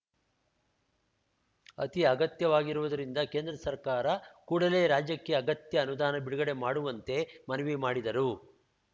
ಅತಿ ಅಗತ್ಯವಾಗಿರುವುದರಿಂದ ಕೇಂದ್ರ ಸರ್ಕಾರ ಕೂಡಲೇ ರಾಜ್ಯಕ್ಕೆ ಅಗತ್ಯ ಅನುದಾನ ಬಿಡುಗಡೆ ಮಾಡುವಂತೆ ಮನವಿ ಮಾಡಿದರು